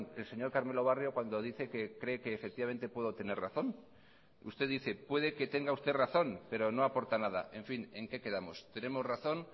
el señor carmelo barrio cuando dice que cree que efectivamente puedo tener razón usted dice puede que tenga usted razón pero no aporta nada en fin en qué quedamos tenemos razón